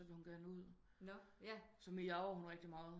Så vil hun gerne ud så miaver hun rigtig meget